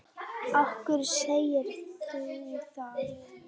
Af hverju segirðu það?